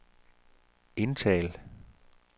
indtal